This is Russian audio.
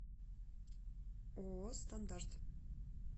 ооо стандарт